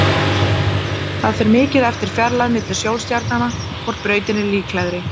Það fer mikið eftir fjarlægð milli sólstjarnanna hvor brautin er líklegri.